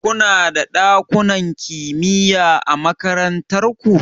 Kuna da ɗakunan kimiya a makarantar ku?